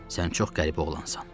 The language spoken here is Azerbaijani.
Sən çox qəribə oğlansan.